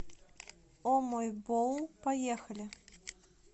о мой боул поехали